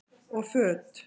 Og föt?